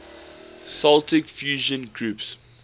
celtic fusion groups